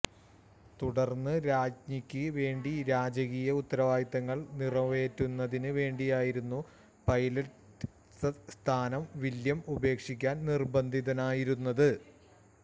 തുടർന്ന് രാജ്ഞിക്ക് വേണ്ടി രാജകീയ ഉത്തരവാദിത്വങ്ങൾ നിറവേറ്റുന്നതിന് വേണ്ടിയായിരുന്നു പൈലറ്റ് സ്ഥാനം വില്യം ഉപേക്ഷിക്കാൻ നിർബന്ധിതനായിരുന്നത്